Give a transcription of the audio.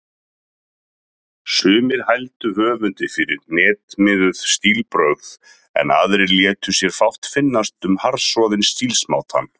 Sumir hældu höfundi fyrir hnitmiðuð stílbrögð, en aðrir létu sér fátt finnast um harðsoðinn stílsmátann.